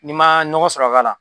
N'i ma nɔgɔ sɔrɔ ka k'a la.